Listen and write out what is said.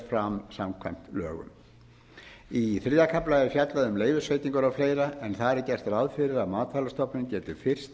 fram samkvæmt lögum í þriðja kafla er fjallað um leyfisveitingar og fleira en þar er gert ráð fyrir að matvælastofnun geti fyrst